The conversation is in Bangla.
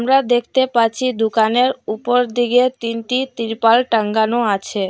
আমরা দেখতে পাচ্ছি দুকানের উপরদিকে তিনটি তিরপল টাঙ্গানো আছে।